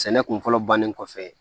Sɛnɛ kun fɔlɔ bannen kɔfɛ